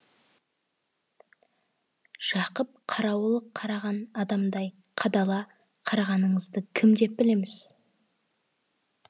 жақып қарауыл қараған адамдай қадала қарағаныңызды кім деп білеміз